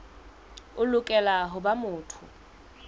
o lokela ho ba motho